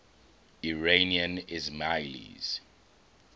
iranian ismailis